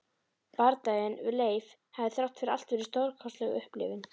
Bardaginn við Leif hafði þrátt fyrir allt verið stórkostleg upplifun.